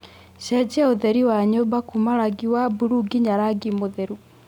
cenjia ũtheri wa nyũmba kuuma rangi wa buluu nyinya rangi mũtheru